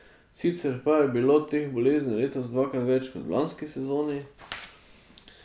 Sicer pa je bilo teh bolezni letos dvakrat več kot v lanski sezoni.